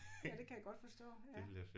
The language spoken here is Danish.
Ja det kan jeg godt forstå ja